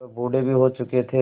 वह बूढ़े भी हो चुके थे